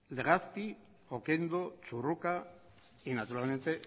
legazpi oquendo churruca y naturalmente